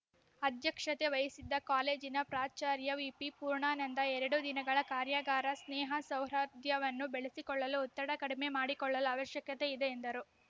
ಅಧ್ಯಕ್ಷತೆ ವಹಿಸಿದ್ದ ಕಾಲೇಜಿನ ಪ್ರಾಚಾರ್ಯ ವಿಪಿ ಪೂರ್ಣಾನಂದ ಎರಡು ದಿನಗಳ ಕಾರ್ಯಾಗಾರ ಸ್ನೇಹಸೌಹಾರ್ದವನ್ನು ಬೆಳೆಸಿಕೊಳ್ಳಲು ಒತ್ತಡ ಕಡಿಮೆ ಮಾಡಿಕೊಳ್ಳಲು ಅವಶ್ಯಕತೆ ಇದೆ ಎಂದರು